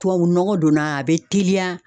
Tubabu nɔgɔ donna a bɛ teliya